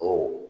Ɔ